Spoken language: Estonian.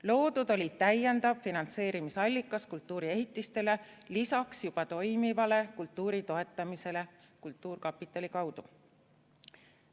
Loodud oli täiendav finantseerimisallikas kultuuriehitistele lisaks juba toimivale kultuuri toetamisele kultuurkapitali kaudu.